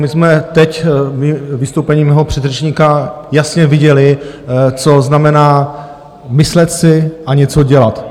My jsme teď ve vystoupení mého předřečníka jasně viděli, co znamená myslet si a něco dělat.